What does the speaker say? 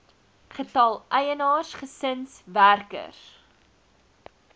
getal eienaars gesinswerkers